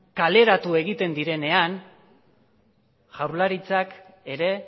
kaleratu egiten direnean jaurlaritzak ere